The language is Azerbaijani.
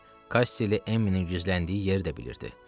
Kassi ilə Emminin gizləndiyi yeri də bilirdi.